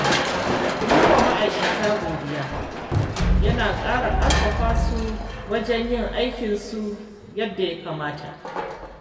Yi wa ma’aikata godiya yana ƙarfafa su wajen yin aikinsu yadda ya kamata.